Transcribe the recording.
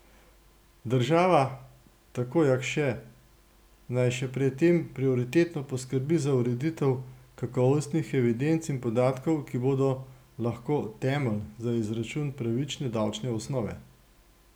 Država, tako Jakše, naj še pred tem prioritetno poskrbi za ureditev kakovostnih evidenc in podatkov, ki bodo lahko temelj za izračun pravične davčne osnove.